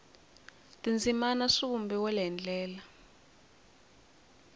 tindzimana swi vumbiwile hi ndlela